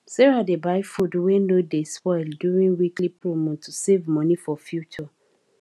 sarah dey buy food wey no dey spoil during weekly promo to save money for future